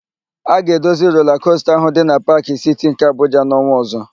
A ga-edozi rola kosta ahụ dị na Paakị Siti nke Abuja n'ọnwa ọ̀zọ́.